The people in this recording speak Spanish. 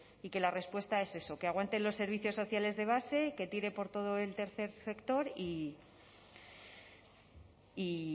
y que la respuesta es eso que aguanten los servicios sociales de base que tire por todo el tercer sector y